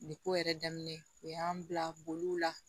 Nin ko yɛrɛ daminɛ u y'an bila boliw la